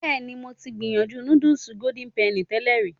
Bẹ́ẹ̀ ni, mo ti gbìyànjú núdùs Golden Penny tẹ́lẹ̀ rí.